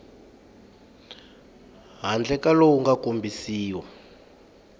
handle ka lowu nga kombisiwa